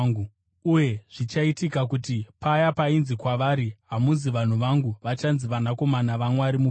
uye, Zvichaitika kuti paya painzi kwavari, “Hamusi vanhu vangu; vachanzi ‘vanakomana vaMwari mupenyu.’ ”